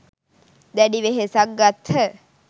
දැඩි වෙහෙසක් ගත්හ.